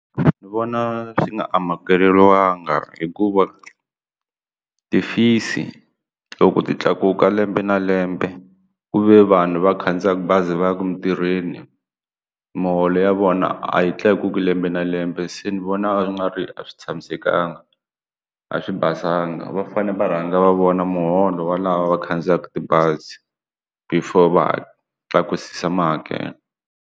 Ni vona swi nga amukeriwanga hikuva ti-fees loko ti tlakuka lembe na lembe ku ve vanhu va khandziyaka bazi va yaka emintirhweni muholo ya vona a yi tlakukilembe na lembe se ni vona nga ri a swi tshamisekanga a swi basanga va fane va rhanga va vona muholo wa lava va khandziyaka tibazi before va tlakusa mahakelo.